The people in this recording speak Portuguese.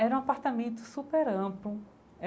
Era um apartamento super amplo.